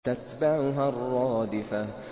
تَتْبَعُهَا الرَّادِفَةُ